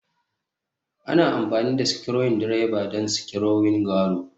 Ana amfani da Screwdriver don screwing goro.